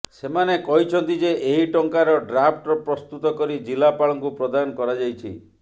ସେମାନେ କହିଛନ୍ତି ଯେ ଏହି ଟଙ୍କାର ଡ୍ରାଫ୍ଟ ପ୍ରସ୍ତୁତ କରି ଜିଲ୍ଲାପାଳଙ୍କୁ ପ୍ରଦାନ କରାଯାଇଛି